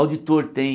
Auditor tem...